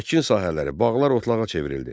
Əkin sahələri, bağlar otlağa çevrildi.